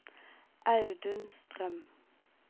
Audun Strøm